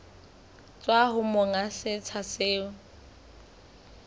tswa ho monga setsha seo